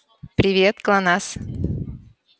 привет глонассс